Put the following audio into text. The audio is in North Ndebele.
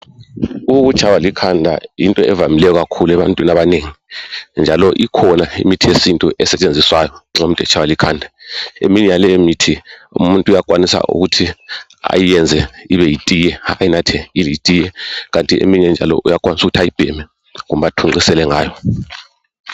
Ukuthaywa likhanda yinto evamileyo ebantwini abanengi njalo njalo ikhona imithi yesintu esetshenziswa yo nxa umuntu etshaywa likhanda eminye yalemithi umuntu uyakwanisa ukuthi ayenze ibe yitiye ayinathe njenge tiye kanti eminye njalo uyakwanisa ukuthi ayibheme kumbe athunqisele ngayo